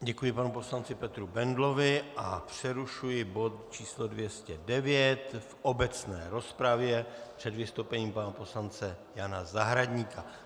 Děkuji panu poslanci Petru Bendlovi a přerušuji bod číslo 209 v obecné rozpravě před vystoupením pana poslance Jana Zahradníka.